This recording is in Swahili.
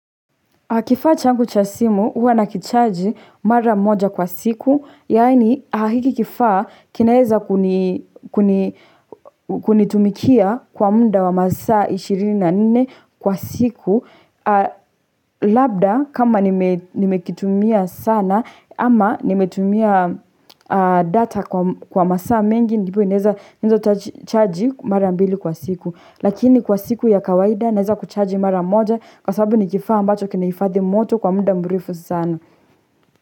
Kifaa changu cha simu, huwa na kicharge mara moja kwa siku, yaani hiki kifaa kinaeza kunitumikia kwa muda wa masaa ishirini na nne kwa siku. Labda, kama nimekitumia sana ama nimetumia data kwa masaa mengi, ndipo inaweza naweza charge mara mbili kwa siku. Lakini kwa siku ya kawaida naeza kuchaji mara moja kwa sababu nikifaa ambacho kinahifadhi moto kwa muda mrefu sana.